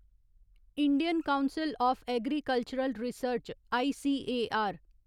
Indian council of agricultural research ICAR